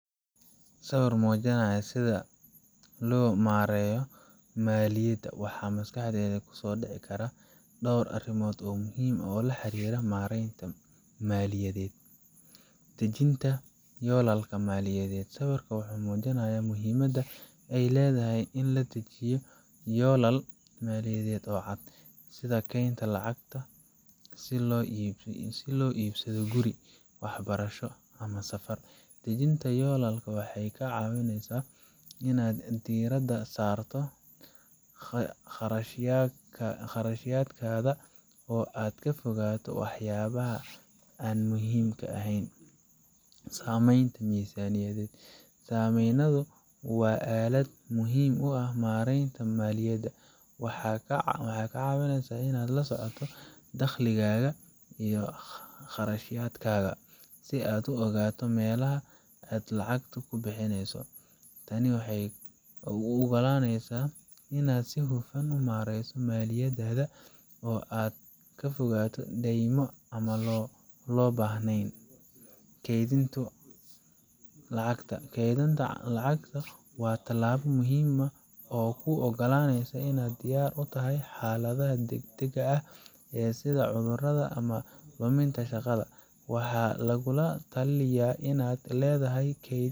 Sawir muujinaya sida loo maareeyo maaliyadda, waxaa maskaxdaada ku soo dhici kara dhowr arrimood muhiim ah oo la xiriira maaraynta maaliyadeed: Dejinta Yoolalka Maaliyadeed Sawirkan wuxuu muujinayaa muhiimadda ay leedahay in la dejiyo yoolal maaliyadeed oo cad, sida kaydinta lacag si loo iibsado guri, waxbarasho, ama safar. Dejinta yoolal waxay kaa caawisaa inaad diirada saarto kharashaadkaaga oo aad ka fogaato waxyaabaha aan muhiimka ahayn. Samaynta Miisaaniyad Miisaaniyaddu waa aalad muhiim u ah maaraynta maaliyadda. Waxay kaa caawinaysaa inaad la socoto dakhligaaga iyo kharashaadkaaga, si aad u ogaato meelaha aad lacagtaada ku bixinayso. Tani waxay kuu ogolaanaysaa inaad si hufan u maareyso maaliyaddaada oo aad ka fogaato deymo aan loo baahnayn. Kaydinta Lacagta Kaydinta lacagta waa tallaabo muhiim ah oo kuu ogolaanaysa inaad diyaar u ahaato xaaladaha degdegga ah sida cudurrada ama luminta shaqada. Waxaa lagugula talinayaa inaad leedahay kayd.